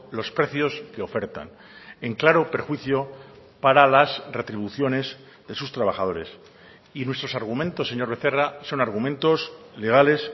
los precios que ofertan en claro perjuicio para las retribuciones de sus trabajadores y nuestros argumentos señor becerra son argumentos legales